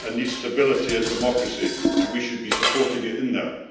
It needs stability and democracy, and we should be supporting it in that.